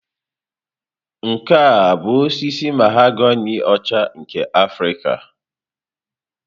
Nke a ọ bụ osisi mahogani ọcha nke Afrịka?